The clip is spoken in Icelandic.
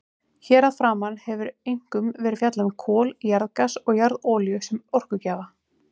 Hér að framan hefur einkum verið fjallað um kol, jarðgas og jarðolíu sem orkugjafa.